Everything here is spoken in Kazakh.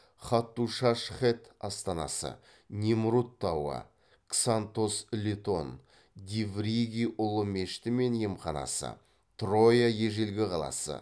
хаттушаш хэт астанасы немрут тауы ксантос летон дивриги ұлы мешіті мен емханасы троя ежелгі қаласы